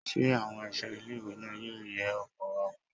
Ṣé àwọn ẹ̀ṣọ́ ilé ìwé náà yóò ye ọkọ̀ wa wò?